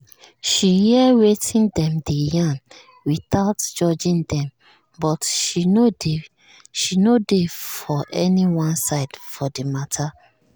she hear wetin dem dey yarn without judging dem but she no dey for anyone side for the matter